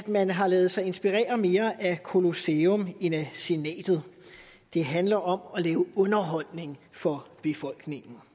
man har ladet sig inspirere mere af colosseum end af senatet det handler om at lave underholdning for befolkningen